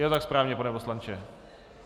Je to tak správně, pane poslanče?